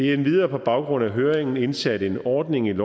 er endvidere på baggrund af høringen indsat en ordning i